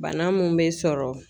Bana mun be sɔrɔ